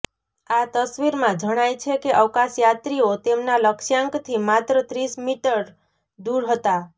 આ તસ્વીરમાં જણાય છે કે અવકાશયાત્રિઓ તેમનાં લક્ષ્યાંકથી માત્ર ત્રીસ મીટર દુર હતા